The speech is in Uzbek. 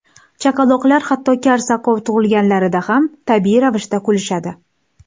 Chaqaloqlar hatto kar-soqov tug‘ilganlarida ham tabiiy ravishda kulishadi.